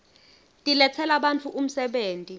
tiletsela bantfu umsebenti